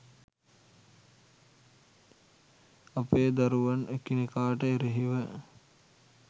අපේ දරුවන් එකිනෙකාට එරෙහිව